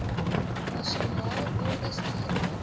nasionale ordes toegelaat